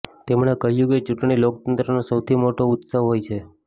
તેમણે કહ્યું કે ચૂંટણી લોકતંત્રનો સૌથી મોટો ઉત્સવ હોય છે